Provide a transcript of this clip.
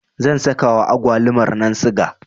zan sakawa agwalumarnan siga